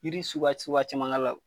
Yiri suguya suguya caman k'a la